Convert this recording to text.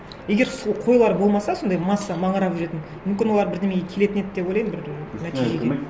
егер қойлар болмаса сондай масса маңырап жүретін мүмкін олар бірдеңеге келетін еді деп ойлаймын бір нәтижеге